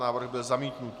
Návrh byl zamítnut.